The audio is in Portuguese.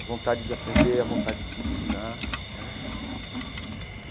A vontade de aprender, a vontade de ensinar né e.